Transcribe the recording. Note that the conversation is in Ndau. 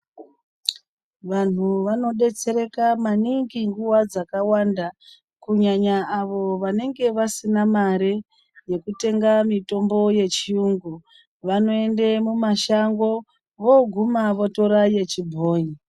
Vanhu vanobetsereka maningi nguva dzakawanda, kunyanya avo vanenge vasina mare yekutenga mitombo yechiyungu, vanoende kumashango voguma votora yechibhoi.